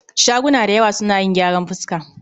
Shaguna dayawa suna yin gyaran fuska